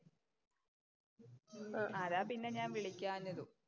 അതാ പിന്നെ ഞാന്‍ വിളിക്കാഞ്ഞതും.